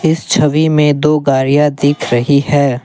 इस छवि में दो गाड़ियां दिख रही हैं।